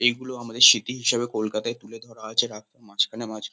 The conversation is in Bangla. এগুলো আমাদের স্মৃতি হিসেবে কলকাতায় তুলে ধরা হয়েছে। রাস্তার মাঝখানে মাঝখান --